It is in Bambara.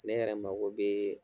Ne yɛrɛ mago bɛ